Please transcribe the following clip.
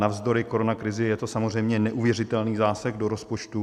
Navzdory koronakrizi je to samozřejmě neuvěřitelný zásah do rozpočtu.